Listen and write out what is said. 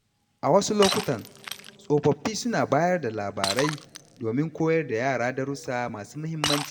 A wasu lokutan, tsofaffi suna bayar da labarai domin koyar da yara darussa masu muhimmanci.